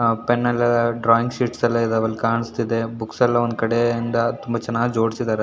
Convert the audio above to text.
ಆ ಪೆನ್ ಎಲ್ಲ drawing sheets ಎಲ್ಲ ಇದಾವೆ ಅಲ್ಲಿ ಕಾಣಿಸ್ತಿದೆ ಬುಕ್ಸ್ ಎಲ್ಲ ಒಂದು ಕಡೆಯಿಂದ ತುಂಬಾ ಚೆನ್ನಾಗಿ ಜೋಡಿಸಿದ್ದಾರೆ.